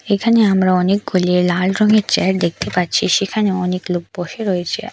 এখানে আমরা অনেকগুলি লাল রংয়ের চেয়ার দেখতে পাচ্ছি সেখানে অনেক লোক বসে রয়েছে।